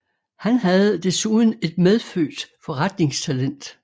Han havde desuden et medfødt forretningstalent